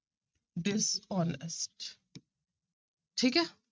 Dishonest ਠੀਕ ਹੈ।